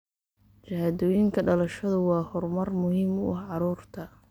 Shahaadooyinka dhalashadu waa horumar muhiim u ah carruurta.